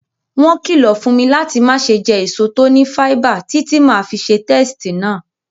Won kìlọ̀ fún mi láti mase je èso to ni fáíbà títí ti ma fi se testí náà